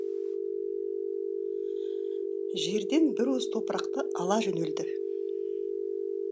жерден бір уыс топырақты ала жөнелді